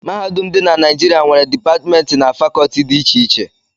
Mahadum dị na Naijiria nwere Dipatmentị na Fakọọti dị iche iche